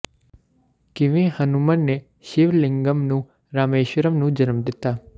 ਕਿਵੇਂ ਹਨੁਮਨ ਨੇ ਸ਼ਿਵ ਲਿੰਗਮ ਨੂੰ ਰਾਮੇਸ਼ਵਰਮ ਨੂੰ ਜਨਮ ਦਿੱਤਾ